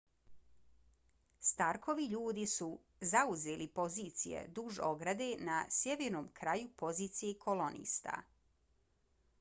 starkovi ljudi su zauzeli pozicije duž ograde na sjevernom kraju pozicije kolonista